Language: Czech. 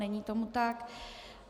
Není tomu tak.